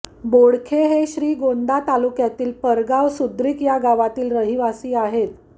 बोडखे हे श्रीगोंदा तालुक्यातील पारगाव सुद्रीक या गावातील रहिवासी आहेत